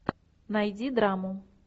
найди драму